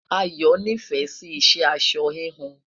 Ayo n'ifẹ Si iṣẹ aṣọ híhun